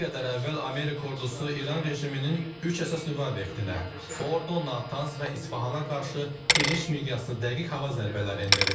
Bir qədər əvvəl Amerika ordusu İran rejiminin üç əsas nüvə obyektinə, Fordo, Natans və İsfahana qarşı geniş miqyaslı dəqiq hava zərbələri endirib.